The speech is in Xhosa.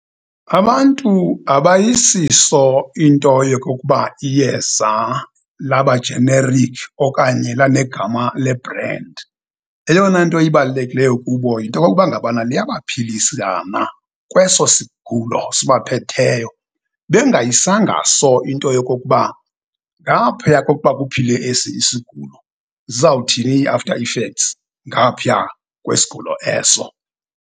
Abantu abayisiso into yokokuba iyeza laba generic okanye lanegama le bhrendi. Eyona nto ibalulekileyo kubo yinto yokokuba ngabana liyabaphilisa na kweso sigulo sibaphetheyo bengayisanga so into yokokuba ngaphaya kokuba kuphile esi isigulo, zizawuthini i-after effects ngaphiya kwesigulo eso.